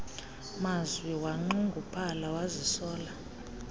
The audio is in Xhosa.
mazwi wanxunguphala wazisola